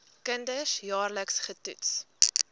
kinders jaarliks getoets